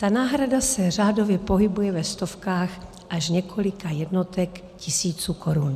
Ta náhrada se řádově pohybuje ve stovkách až několika jednotek tisíců korun.